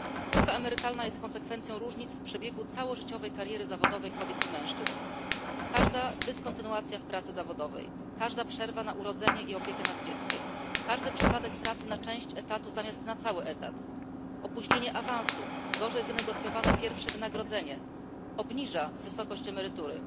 Luka emerytalna jest konsekwencją różnic w przebiegu całożyciowej kariery zawodowej kobiet i mężczyzn. Każda dyskontynuacja w pracy zawodowej, każda przerwa na urodzenie i opiekę nad dzieckiem, każdy przypadek pracy na część etatu zamiast na cały etat, opóźnienie awansu, gorzej wynegocjowane pierwsze wynagrodzenie obniża wysokość emerytury.